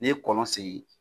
N'i ye kɔlɔn sen